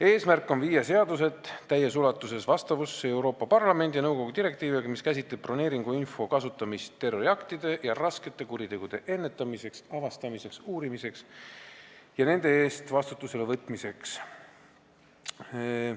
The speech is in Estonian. Eesmärk on viia seadused täies ulatuses vastavusse Euroopa Parlamendi ja nõukogu direktiiviga, mis käsitleb broneeringuinfo kasutamist terroriaktide ja raskete kuritegude ennetamiseks, avastamiseks, uurimiseks ja nende eest vastutusele võtmiseks.